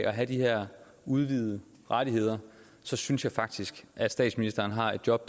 at have de her udvidede rettigheder så synes jeg faktisk at statsministeren har et job